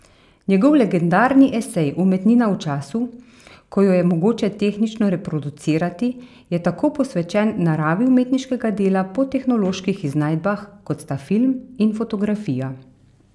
Njegov legendarni esej Umetnina v času, ko jo je mogoče tehnično reproducirati je tako posvečen naravi umetniškega dela po tehnoloških iznajdbah, kot sta film in fotografija.